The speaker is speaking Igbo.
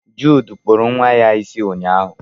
Jude kpuru nwa ya isi ụnyaahụ.